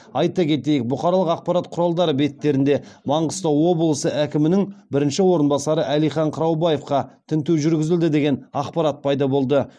айта кетейік бұқаралық ақпарат құралдары беттерінде маңғыстау облысы әкімінің бірінші орынбасары әлихан қыраубаевқа тінту жүргізілді деген ақпарат пайда болды